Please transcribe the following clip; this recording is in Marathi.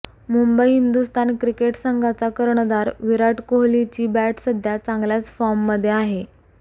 मुंबई हिंदुस्थान क्रिकेट संघाचा कर्णधार विराट कोहलीची बॅट सध्या चांगल्याच फॉर्ममध्ये आहे